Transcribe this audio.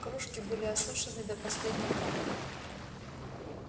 кружки были осушены до последней капли